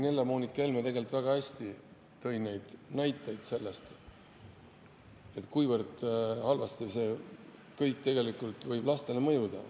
Helle-Moonika Helme tõi väga hästi näiteid selle kohta, kui halvasti see kõik võib lastele mõjuda.